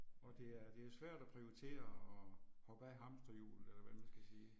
Og det er det er svært at prioritere og hoppe af hamsterhjulet eller hvad man skal sige